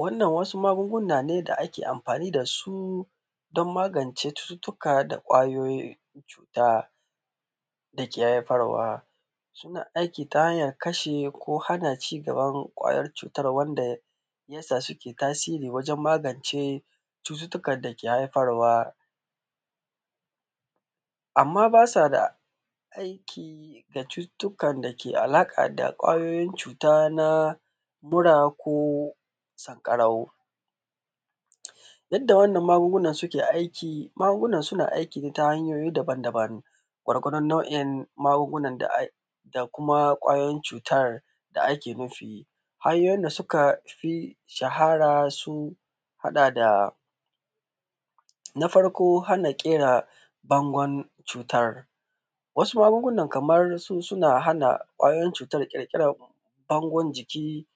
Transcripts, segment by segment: Wannan wasu magunguna ne da ake amfani dasu don magance cututuka da kwayoyin cuta dake haifarwa suna aiki ta hanya hana ko kashe ci gaban kwayoyin cutar wanda yasa suke tasiri wajen magance cututukan dake haifarwa amma basu da aiki da cututukan dake da alaƙa da kwayoyin cuta na bura ko sankarau. Yanda wannan magunguna suke aiki magungunan suna aiki ne ta hanyoyi dabam dabam gwargwadon nau’in magungunan da ai da kuma kwayoyin cutan da ake nufi. Hanyoyin da suka fi shahara sun haɗa da na farko hana kera bangon cutan wasu magungunan kamar su suna hana kwayoyin cutan kirkiran bango jiki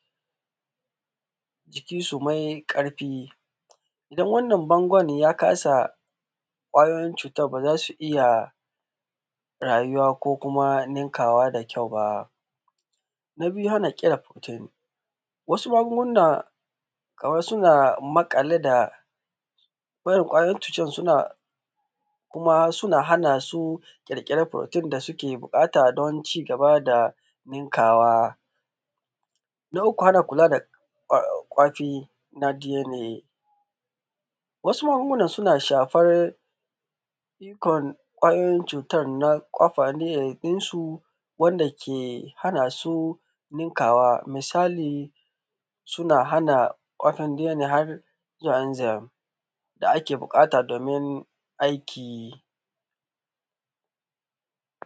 jikinsu ye karfi idan wannan bangon ya kasa kwayoyin cutan baza su iya rayuwa ko kuma ninkawa da kyau ba. Na biyu hana wasu magunguna suna maƙale da wannan kwayoyin cutan suna hana su kirkire da furotin da suke bukata don ci gaba da ninkawa. Na uku hana kula da kwafi na dna misali dna da zemzem da ake bukata domin aiki.